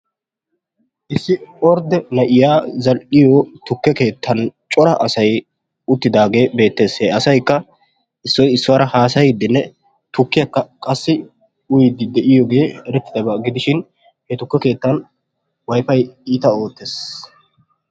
Issi ordde na'iyaa zal''iyo tukke keettan cora asay uttidaage beettes. he asaykka issoy issuwaara haassaydinne tukkiyakka qassi uyyide de'iyooge eretidabaa gidishin he tukke keettan Wifay iita oottees.